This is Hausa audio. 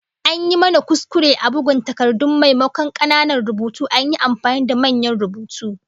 An yi mana kuskure a bugun takardun, maimakon kananan rubutu an yi amfani da manyan rubutu